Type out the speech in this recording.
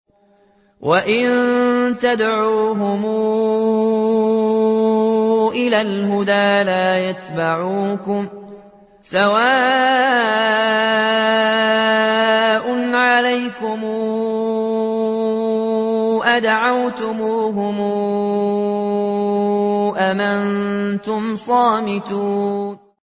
وَإِن تَدْعُوهُمْ إِلَى الْهُدَىٰ لَا يَتَّبِعُوكُمْ ۚ سَوَاءٌ عَلَيْكُمْ أَدَعَوْتُمُوهُمْ أَمْ أَنتُمْ صَامِتُونَ